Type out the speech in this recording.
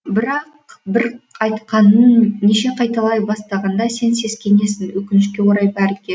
бірақ бір айтқанын неше қайталай бастағанда сен сескенесің өкінішке орай бәрі ке